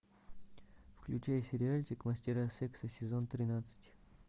включай сериальчик мастера секса сезон тринадцать